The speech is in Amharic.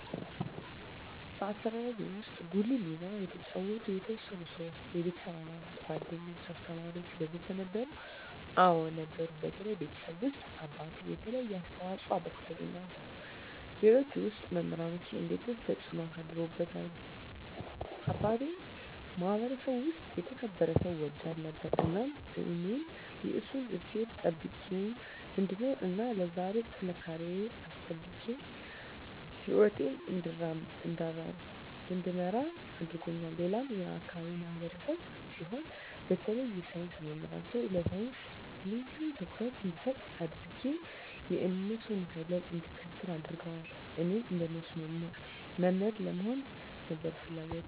በአስተዳደግዎ ውስጥ ጉልህ ሚና የተጫወቱ የተወሰኑ ሰዎች (የቤተሰብ አባላት፣ ጓደኞች፣ አስተማሪዎች ወዘተ) ነበሩ? አዎ ነበሩ በተለይ ቤተሰቤ ውስጥ አባቴ የተለየ አስተዋፅኦ አበርክቶልኛል ሌሎች ውስጥ መምራኖቼ እንዴትስ ተጽዕኖ አሳድረውብዎታል አባቴ የማህበረሰቡ ውስጥ የተከበረ ሰው ወዳድ ነበር እናም እኔም የእሱን እሴቶች ጠብቄ እንድኖር እና ለዛሬ ጥንካሬየን አስጠብቄ ህይወቴን እንድመራ አድርጎኛል ሌላም የአካባቢው ማህበረሰብ ሲሆን በተለይ የሳይንስ መምህሮቼ ለሳይንስ ልዬ ትኩረት እንድሰጥ አድጌ የእነሱን ፈለግ እንድከተል አድርገዋል እኔም እንደነሱ መምህር ለመሆን ነበር ፍለጎቴ